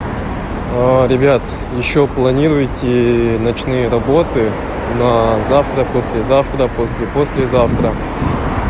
ребят ещё планируете ночные работы на завтра послезавтра послепослезавтра